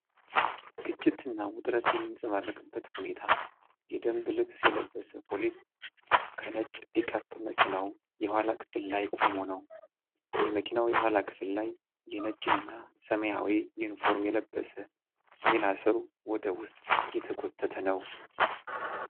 ግጭትና ውጥረት የሚንጸባረቅበት ሁኔታ። የደንብ ልብስ የለበሰ ፖሊስ ከነጭ ፒክአፕ መኪናው የኋላ ክፍል ላይ ቆሞ ነው። የመኪናው የኋላ ክፍል ላይ የነጭና ሰማያዊ ዩኒፎርም የለበሰ ሌላ ሰው ወደ ውስጥ እየተጎተተ ነው።